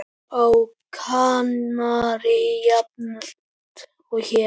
Á Kanarí jafnt og hér.